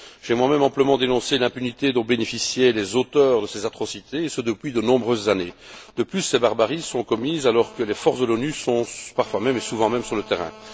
J'ai moi même amplement dénoncé l'impunité dont bénéficiaient les auteurs de ces atrocités, et ce depuis de nombreuses années. De plus, ces barbaries sont commises alors que les forces des Nations unies sont parfois, et souvent même, sur le terrain.